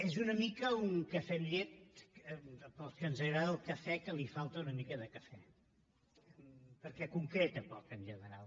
és una mica un cafè amb llet per a aquells a qui ens agrada el cafè que li falta una mica de cafè perquè concreta poc en general